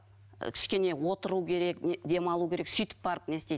ы кішкене отыру керек демалу керек сөйтіп барып не істейді